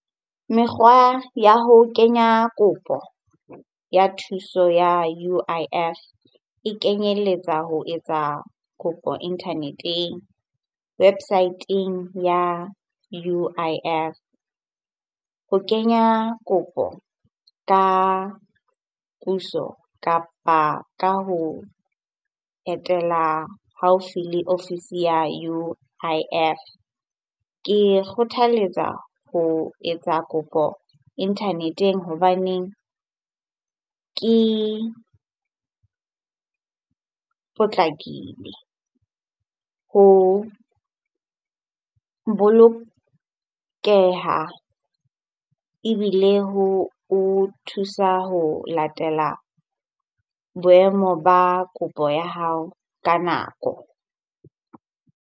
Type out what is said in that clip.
Mekgwa ya ho kenya kopo ya thuso ya U_I_F e kenyelletsa ho etsa kopo internet-eng, website-eng ya U_I_F ho kenya kopo ka puso kapa ka ho etela haufi le ofisi ya U_I_F. Ke kgothaletsa ho etsa kopo internet-eng hobaneng ke potlakile ho bolokeha ebile ho o thusa ho latela boemo ba kopo ya hao ka nako.